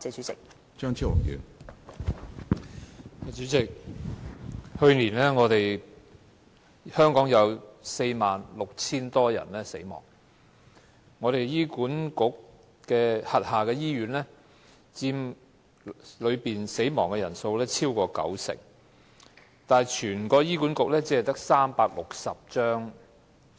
主席，香港去年有46000多人死亡，在醫管局轄下醫院中死亡的人數佔此數超過九成，但醫管局只有360張